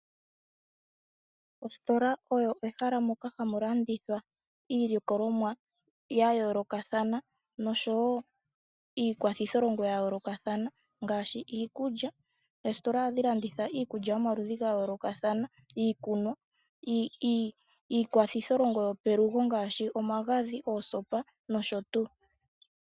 Ositola oyo ehala ndyoka hamu landithwa iilikolomwa yayoolokathana noshowoo iikwathitholongo yayoolokathana ngaashi iikulya. Ositola ohayi landitha iikulya yomaludhi gayoolokathana, iikunwa , iikwathitholongo yopelugo ngaashi omagadhi, oosopa noshotuu.